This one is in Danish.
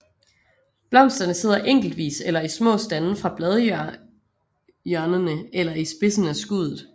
Blomsterne sidder enkeltvis eller i små stande fra bladhjørnerene eller i spidsen af skuddet